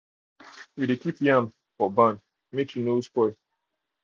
we dey keep yam for barn make e no um spoil.